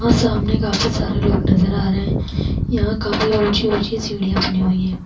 और सामने काफी सारे लोग नज़र आ रहे है यहाँ काफी ऊंची ऊंची सीढ़िया बनी हुए है।